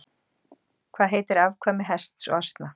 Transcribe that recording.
Hvað heitir afkvæmi hests og asna?